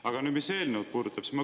Aga nüüd sellest, mis puudutab eelnõu.